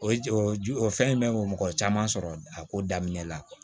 O ye o ju o fɛn in bɛ mɔgɔ caman sɔrɔ a ko daminɛ la